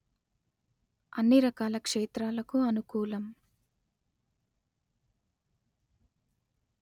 అన్ని రకాల క్షేత్రాలకు అనుకూలం